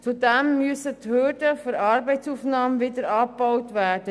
Auch müssen die Hürden der Arbeitsaufnahme wieder abgebaut werden.